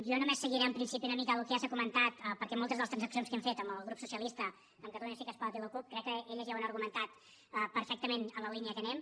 jo només seguiré en principi una mica el que ja s’ha comentat perquè moltes de les transaccions que hem fet amb el grup socialista amb catalunya sí que es pot i la cup crec que elles ja ho han argumentat perfectament en la línia que anem